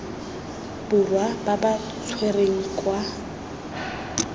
borwa ba ba tshwerweng kwa